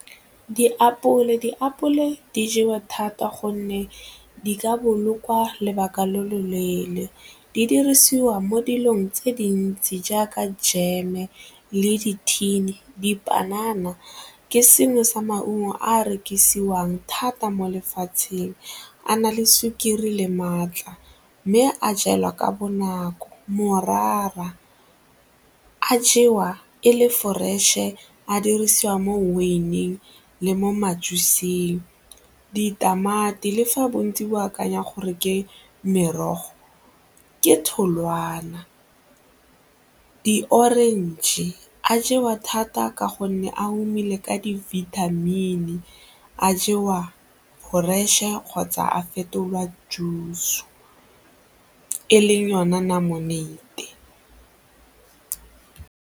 Diapole, diapole di jewa thata gonne di ka bolokwa lobaka lo lo leele, di dirisiwa mo dilong tse dintsi jaaka jeme le dithini. Dipanana ke sengwe sa maungo a rekisiwang thata mo lefatsheng, a na le sukiri le maatla mme a jewa ka bonako morara, a jewa e le fresh-e a dirisiwa mo wine-eng le mo ditamati le fa bontsi bo akanya gore ke merogo, ke tholwana, di-orange, a jewa thata ka gonne a omile ka di-vitamin a jewa fresh-e kgotsa a fetolwa juice e leng yona lemonade.